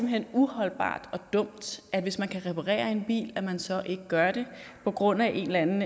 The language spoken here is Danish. hen uholdbart og dumt hvis man kan reparere en bil at man så ikke gør det på grund af en eller anden